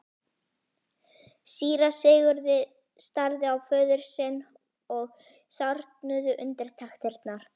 Síra Sigurði starði á föður sinn og sárnuðu undirtektirnar.